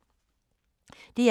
DR1